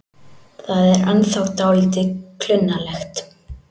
Það er ennþá dálítið klunnalegt.